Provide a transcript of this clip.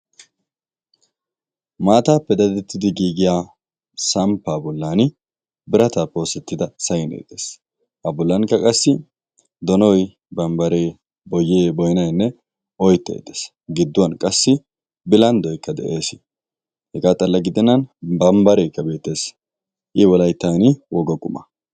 maattaappe dadettidi giigiya sampaa bolli, birataappe oosettida saynee de'ees. a bolankka qassi dono, bambaree boynaykka bambaree dees. giduwan qassi bilandoykka de'ees. i wolayttani woga qumma.